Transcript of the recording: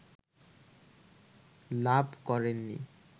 লাভ করেনি